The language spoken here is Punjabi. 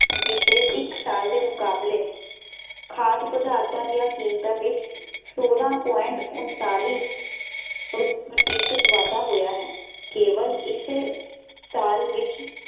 ਬੀਤੇ ਇੱਕ ਸਾਲ ਦੇ ਮੁਕਾਬਲੇ ਖਾਦ ਪਦਾਰਥਾਂ ਦੀਆਂ ਕੀਮਤਾਂ ਵਿੱਚ ਸੋਲਾਂ ਪੁਆਇੰਟ ਉਨਤਾਲੀ ਪ੍ਰਤੀਸ਼ਤ ਵਾਧਾ ਹੋਇਆ ਹੈ ਕੇਵਲ ਇਸੇ ਸਾਲ ਵਿੱਚ